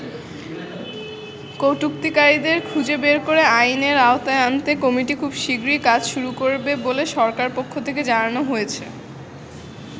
কটুক্তিকারীদের খুঁজে বের করে আইনের আওতায় আনতে কমিটি খুব শীগগরিই কাজ শুরু করবে বলে সরকারের পক্ষ থেকে জানানো হয়েছে।